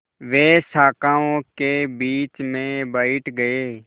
वे शाखाओं के बीच में बैठ गए